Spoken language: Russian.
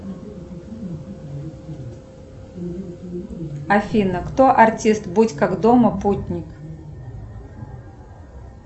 афина кто артист будь как дома путник